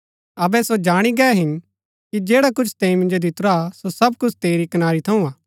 अबै सो जाणी गै हिन कि जैडा कुछ तैंई मिन्जो दितुरा सो सब कुछ तेरी कनारी थऊँ हा